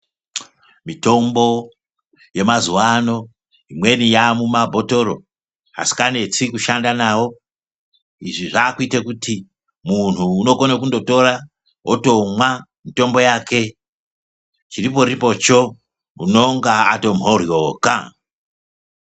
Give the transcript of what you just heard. Mitombo yemazuva ano imweni yamumabhotoro asikanesi kushanda nawo izvi zvakuita kuti muntu unokone kundotora wotomwa mitombo yake chiriporipocho unenge atomhoryoka.